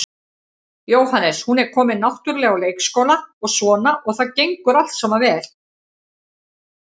Jóhannes: Hún er komin náttúrulega á leikskóla og svona og það gengur allt saman vel?